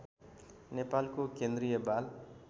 नेपालको केन्द्रीय बाल